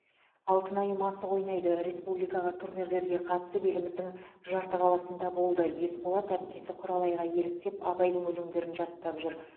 алтынайым асық ойнайды республикаға турнирлерге қатысып еліміздің жарты қаласында болды есболат әпкесі құралайға еліктеп абайдың өлеңдерін жаттап жүр